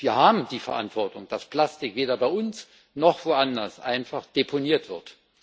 Wir haben die Verantwortung, dass Plastik weder bei uns noch woanders einfach deponiert wird.